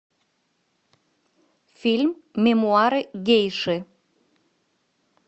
фильм мемуары гейши